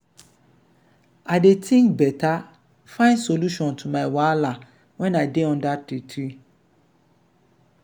i dey tink beta find solution to my wahala wen i dey under di tree.